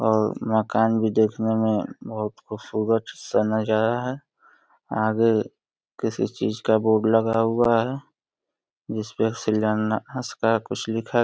और मकान भी देखने में बहोत खूबसूरत समझ आ रहा है। आगे किसी चीज का बोर्ड लगा हुआ है जिसपे कुछ लिखा --